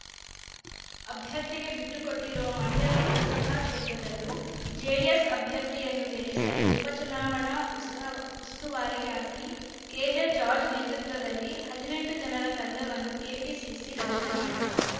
ಅಭ್ಯರ್ಥಿಗೆ ಬಿಟ್ಟುಕೊಟ್ಟಿರುವ ಮಂಡ್ಯ ಲೋಕಸಭಾ ಕ್ಷೇತ್ರದಲ್ಲೂ ಜೆಡಿಎಸ್‌ ಅಭ್ಯರ್ಥಿಯನ್ನು ಗೆಲ್ಲಿಸಲು ಉಪ ಚುನಾವಣಾ ಉಸ್ತಾ ಉಸ್ತುವಾರಿಯಾಗಿ ಕೆಜೆ ಜಾರ್ಜ್ ನೇತೃತ್ವದಲ್ಲಿ ಹದಿನೆಂಟು ಜನರ ತಂಡವನ್ನು ಕೆಪಿಸಿಸಿ ರಚನೆ ಮಾಡಿದೆ